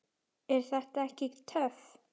Er þetta ekki töff?